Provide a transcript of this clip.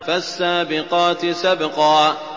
فَالسَّابِقَاتِ سَبْقًا